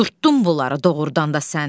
Qudurtdun bunları doğurdan da sən.